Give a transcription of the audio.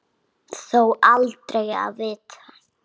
Þó aldrei að vita.